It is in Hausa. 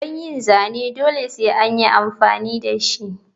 Don yin zane dole sai anyi amfani dashi.